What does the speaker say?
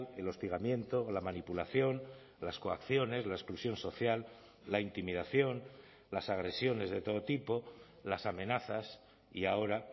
el hostigamiento la manipulación las coacciones la exclusión social la intimidación las agresiones de todo tipo las amenazas y ahora